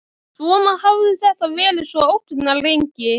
Svona hafði þetta verið svo ógnarlengi.